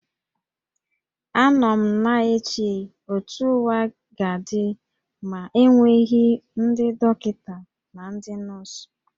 Anọ m na-eche otú ụwa ga-adị ma enweghị ndị dọkịta na ndị nọọsụ